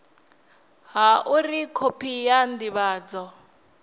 ha uri khophi ya ndivhadzo